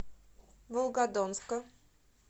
волгодонска